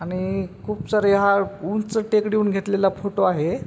आणि खुप सारे ह्या उंच टेकडी हून घेतलेला हा फोटो आहे.